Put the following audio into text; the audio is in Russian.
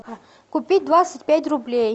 купить двадцать пять рублей